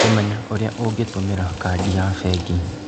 Kũmenya ũrĩa ũngĩtũmĩra kandi ya bengi.